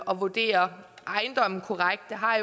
at vurdere ejendomme korrekt det har